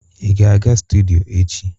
ị ga-aga studio echi?